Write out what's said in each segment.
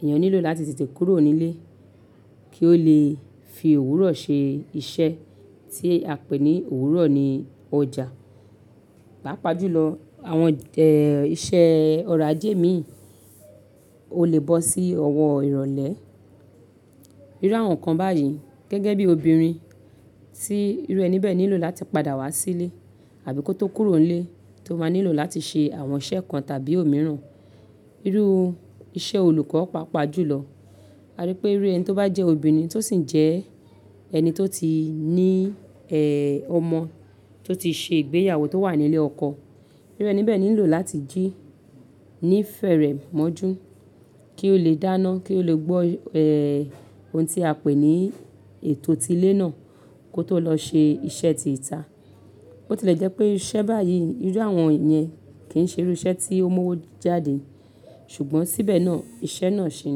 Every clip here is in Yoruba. èèyàn nílò láti tètè kúrò nílé kí ó lè fi òwúrọ̀ ṣe iṣẹ́ tí a pè ní òwúrọ̀ ní ọjà. Pàápàá jùlọ àwọn, ẹ, iṣẹ́ ọ̀rọ̀ ajé míì ó lè bọ́ sí ọwọ́ ìrọ̀lẹ́. Irú àwọn nǹkan báyìí gẹ́gẹ́ bí obìnrin tí irú ẹni bẹ́ẹ̀ nílò láti padà wá sílé àbí kó tó kúrò nílé tó máa nílò láti ṣe àwọn iṣẹ́ kan tàbí òmíràn. Irú iṣẹ́ olùkọ́ pàápàá jùlọ. A rí pé irú ẹni tó bá jẹ́ obìnrin tó sì ń jẹ́ ẹni tó ti ní, eeh, ọmọ tó ti ṣe ìgbéyàwó tó wà ní ilé ọkọ. Irú ẹni bẹ́ẹ̀ nílò láti jí ní ìfẹ́rẹ̀ majú kí ó lè dáná, kí ó lè gbọ́, eeh, ohun tí a pè ní ètò ti ilé náà kó tó lọ ṣe iṣẹ́ ti ìta. Ó ti lè jẹ́ pé iṣẹ́ báyìí irú àwọn yẹn kì í ṣe irú iṣẹ́ tí ó mú owó jáde ṣùgbọ́n síbẹ̀ náà iṣẹ́ náà ṣi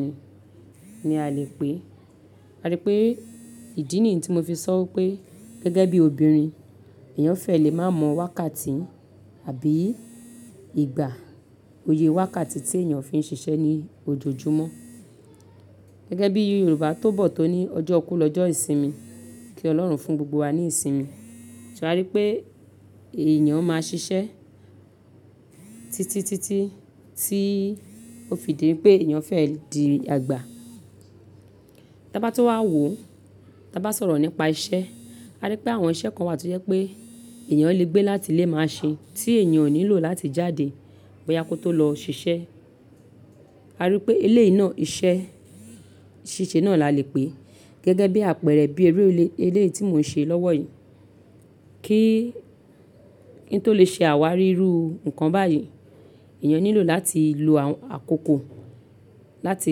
ni, ni a lè pè é. A rí pé ìdí nìyí tí mo fi sọ pé gẹ́gẹ́ bí obìnrin, èèyàn fẹ́ lè má mọ wákàtí àbí ìgbà, òye wákàtí tí èèyàn fi ń ṣiṣẹ́ ní ojoojúmọ́. Gẹ́gẹ́ bí Yorùbá tó bọ̀ tó ní ọjọ́ kú lọjọ́ ìsinmi, kí Ọlọ́run fún gbogbo wa ní ìsinmi. Ṣé a rí pé èèyàn máa ṣiṣẹ́ títítítí tí ó fi di pé èèyàn fẹ́ di àgbà. Tí a bá tó wá wò ó, tí a bá sọ̀rọ̀ nípa iṣẹ́, a rí pé àwọn iṣẹ́ kan wà tí ó jẹ́ pé èèyàn lè gbé láti ilé máa ṣe tí èèyàn ò nílò láti jáde bóyá kó tó lọ ṣiṣẹ́. A rí pé eléyìí náà iṣẹ́ ṣíṣe náà la lè pè. Gẹ́gẹ́ bí àpẹẹrẹ bí eléyìí tí mò ń ṣe lọ́wọ́ yìí. Kí, kí n tó lè ṣe àwárí irú nǹkan báyìí, èèyàn nílò láti lo àkókò láti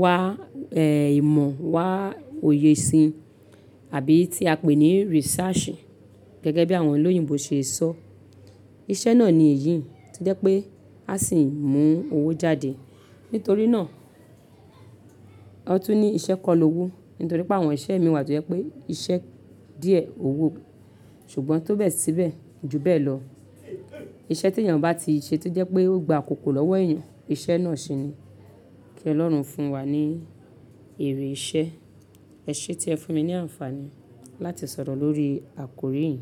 wá, eeh, ìmọ̀ wá òye sin abí tí a pè ní research gẹ́gẹ́ bí àwọn olóyìnbo ṣe ṣọ. Iṣẹ́ náà ni èyí tí o jẹ́ pé a sì ń mú owó jáde. Nítorí náà, a tún ní iṣẹ́ kọ́ lọ́wó. Nítorí pé àwọn iṣẹ́ mi wà tó jẹ́ pé iṣẹ́ díẹ̀ owó ṣùgbọ́n tó bẹ́ẹ̀ síbẹ̀, ju bẹ́ẹ̀ lọ iṣẹ́ tí èèyàn bá ti ṣe tó jẹ́ pé ó gba àkókò lọ́wọ́ èèyàn, iṣẹ́ náà ṣe ni. Kí Ọlọ́run fún wa ní èrè iṣẹ́. Ẹ ṣe tí ẹ fún mi ní àǹfààní láti sọ̀rọ̀ lórí àkòrí yìí.